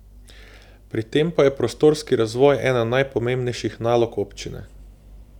Pri tem pa je prostorski razvoj ena najpomembnejših nalog občine.